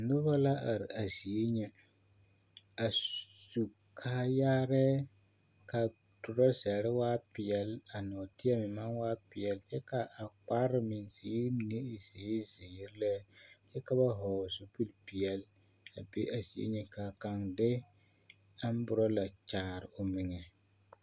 Noba la are a zie ŋa a su kaayaarɛɛ ka a torazare waa peɛlle ka a nɔɔteɛ meŋ maŋ waa peɛlle kyɛ ka a kpare mine meŋ ziiri mine e zeere zeere lɛ kyɛ ka ba vɔgle zupilpeɛlle a be a zie ŋa ka kaŋ de amborɔla kyaare o meŋa.